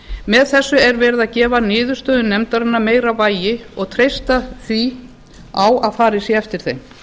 með þessu er verið að gefa niðurstöðum nefndarinnar meira vægi og treysta því á að farið sé eftir þeim